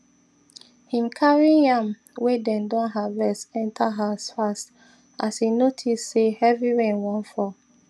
him carry yam way dem don harvest enter house fast as e notice say heavy rain wan fall